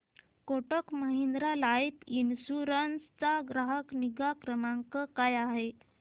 Kotak Mahindra life insurance चा ग्राहक निगा क्रमांक काय आहे